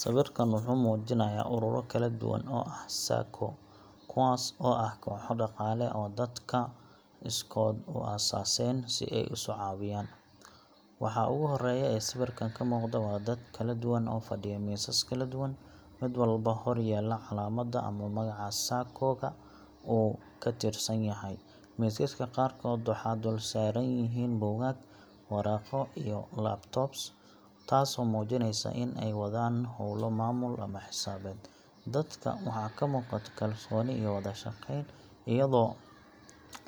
Sawirkan wuxuu muujinayaa ururo kala duwan oo ah SACCOs, kuwaas oo ah kooxo dhaqaale oo dadku iskood u aasaaseen si ay isu caawiyaan. Waxa ugu horreeya ee sawirka ka muuqda waa dad kala duwan oo fadhiya miisas kala duwan, mid walba hor yaalla calaamadda ama magaca SACCO-ga uu ka tirsan yahay. Miisaska qaarkood waxaa dul saaranyihiin buugaag, waraaqo, iyo laptops taasoo muujinaysa in ay wadaan hawlo maamul ama xisaabeed. Dadka waxaa ka muuqata kalsooni iyo wada-shaqeyn, iyadoo